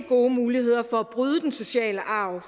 gode muligheder for at bryde den sociale arv